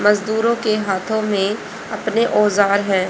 मजदूरों के हाथों में अपने औजार हैं।